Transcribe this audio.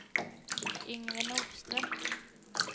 Yngve Nordström